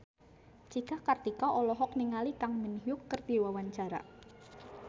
Cika Kartika olohok ningali Kang Min Hyuk keur diwawancara